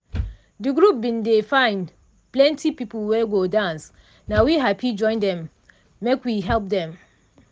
de group bin dey find plenti people wey go dance na we hapi join dem make we help dem.